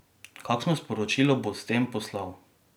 Kakšno sporočilo bo s tem poslal?